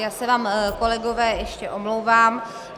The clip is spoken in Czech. Já se vám, kolegové, ještě omlouvám.